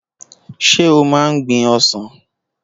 Ṣé o máa ń gbin ọsàn?